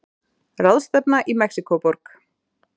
Ráðstefna í Mexíkóborg.